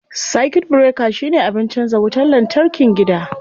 Circuit breaker shine abin canza wutar lantarkin gida.